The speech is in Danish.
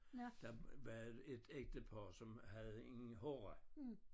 Der var et ægtepar som havde en horra